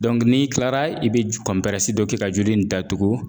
n'i tilara i be j dɔ kɛ ka joli in datugu